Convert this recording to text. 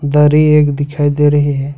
दरी एक दिखाई दे रही है।